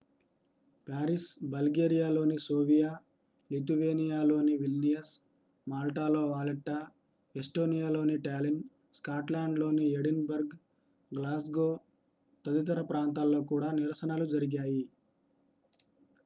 Paris బల్గేరియాలోని Sofia లిథువేనియాలోని Vilnius మాల్టాలో వాలెట్టా ఎస్టోనియాలోని టాలిన్ స్కాట్లాండ్ లోని ఎడిన్ బర్గ్ గ్లాస్గో తదితర ప్రాంతాల్లో కూడా నిరసనలు జరిగాయి